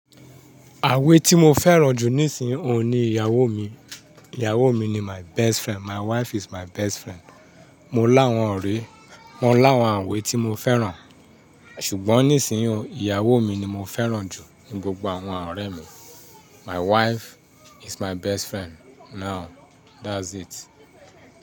Àwè tí mo fẹ́ràn jù nísìnyí òun ni ìyàwó mi. Ìyàwó mi ni my best friend, my wife is my best friend. Mo láwọn ọ̀rẹ́, mo ń láwọn àwè tí mo fẹ́ràn, ṣùgbọ́n nísìnyí òun, ìyàwó mi ni mo fẹ́ràn jù ní gbogbo àwọn ọ̀rẹ́ mi. My wife is my best friend. Now, that's it.